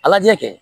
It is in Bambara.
A lajɛ